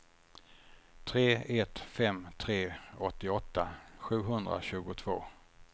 tre ett fem tre åttioåtta sjuhundratjugotvå